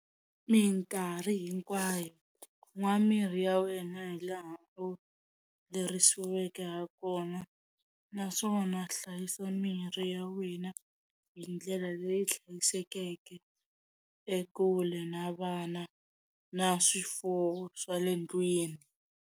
Minkarhi hinkwayo nwa mirhi ya wena hi laha u lerisiweke ha kona naswona hlayisa mirhi ya wena hi ndlela leyi hlayisekeke ekule na vana na swifuwo swa le ndlwini.